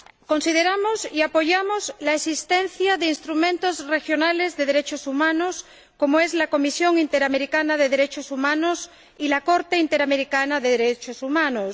Consideramos importante y apoyamos la existencia de instrumentos regionales de derechos humanos, como es la Comisión Interamericana de Derechos Humanos y la Corte Interamericana de Derechos Humanos.